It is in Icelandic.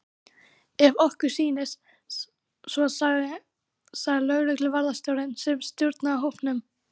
Ef okkur sýnist svo sagði lögregluvarðstjórinn sem stjórnaði hópnum.